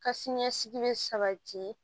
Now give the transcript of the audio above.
Ka siniɲɛsigi bɛ sabati